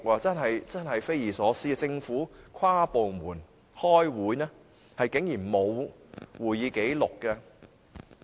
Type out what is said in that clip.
這的確是匪夷所思，政府舉行跨部門會議但竟然沒有會議紀錄。